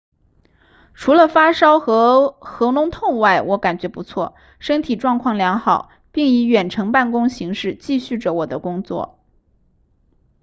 除了发烧和喉咙痛外我感觉不错身体状况良好并以远程办公形式继续着我的工作